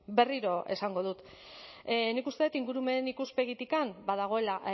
berriro esango dut nik uste dut ingurumen ikuspegitik badagoela